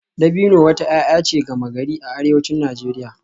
Dabino wata 'ya'ya ce gama-gari a arewacin Najeriya